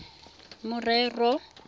morero